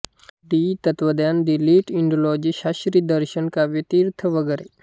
D तत्त्वज्ञान D Litt Indology शास्त्री दर्शन काव्यतीर्थ वगैरे